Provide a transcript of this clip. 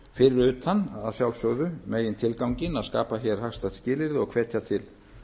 fyrir utan að sjálfsögðu megintilganginn að skapa hér hagstæð skilyrði og hvetja til